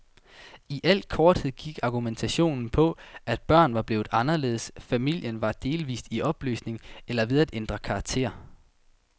I al korthed gik argumentationen på, at børn var blevet anderledes, familien var delvist i opløsning, eller ved at ændre karakter.